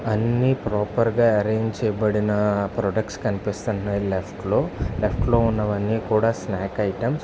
అన్ని ప్రొపెర్ గ ఆరంజ్ చెయ్యబడిన ప్రొడక్ట్స్ కనిపిస్తున్నాయి లెఫ్ట్ లో. లెఫ్ట్ లో ఇక్కడ ఉన్నవి కూడా స్నాక్ ఐటమ్స్ .